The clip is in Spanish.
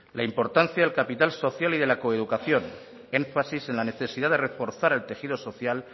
la importancia del capital social y de la coeducación énfasis en la necesidad de reforzar el tejido social